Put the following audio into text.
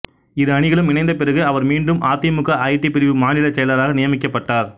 இரு அணிகளும் இணைந்த பிறகு அவர் மீண்டும் அதிமுக ஐடி பிரிவு மாநில செயலாளராக நியமிக்கப்பட்டார்